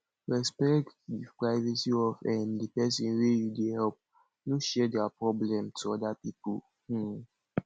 respect di privacy of um di person wey you dey help no share their problem to oda pipo um